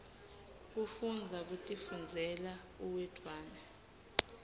kufundza kutifundzela uwedwana